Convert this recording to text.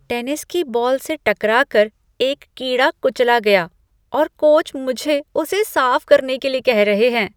Tennis की ball से टकरा कर एक कीड़ा कुचला गया और कोच मुझे उसे साफ करने के लिए कह रहे हैं।